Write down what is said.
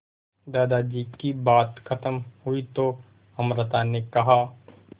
दादाजी की बात खत्म हुई तो अमृता ने कहा